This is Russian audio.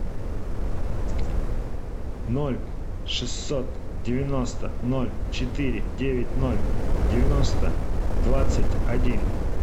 ноль шестьсот девяносто ноль четыре девять ноль девяносто двадцать один